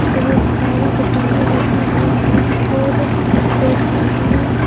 बहुत सारी दुकानें लगी हुई हैं और एक सामने--